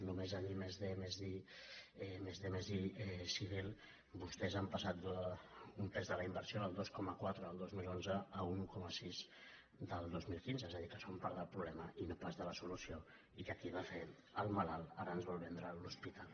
només en i+d+i civil vostès han passat d’un pes de la inversió del dos coma quatre el dos mil onze a un un coma sis del dos mil quinze és a dir que són part del problema i no pas de la solució i que qui va fer el malalt ara ens vol vendre l’hospital